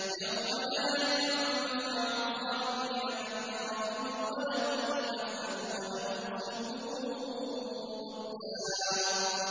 يَوْمَ لَا يَنفَعُ الظَّالِمِينَ مَعْذِرَتُهُمْ ۖ وَلَهُمُ اللَّعْنَةُ وَلَهُمْ سُوءُ الدَّارِ